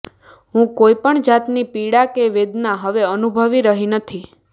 હું કોઈપણ જાતની પીડા કે વેદના હવે અનુભવી રહી નથી